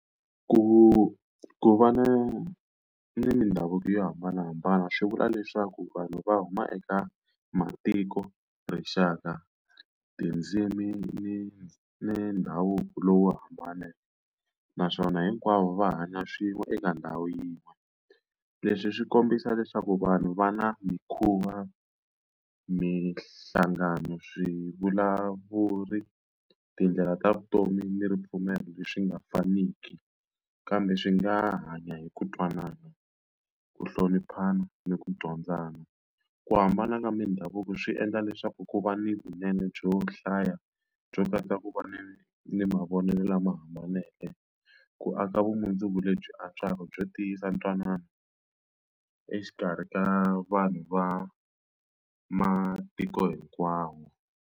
Ku ku va na ni ni mindhavuko yo hambanahambana swi vula leswaku vanhu va huma eka matiko, rixaka, tindzimi, ni ni ndhavuko lowu hambaneke, naswona hinkwavo va hanya swin'we eka ndhawu yin'we. Leswi swi kombisa leswaku vanhu va na mikhuva, minhlangano, swivulavuri, tindlela ta vutomi, ni ripfumelo leswi nga faniki kambe swi nga hanya hi ku twanana, ku hloniphana, ni ku dyondzana. Ku hambana ka mindhavuko swi endla leswaku ku va ni vunene byo hlaya byo katsa ku va ni ni ni mavonelo lama hambaneke, ku aka vumundzuku lebyi antswaka byo tiyisa ntwanano exikarhi ka vanhu va matiko hinkwawo.